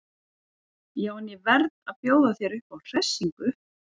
Já en. ég verð að fá að bjóða þér upp á hressingu!